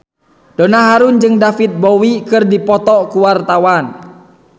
Donna Harun jeung David Bowie keur dipoto ku wartawan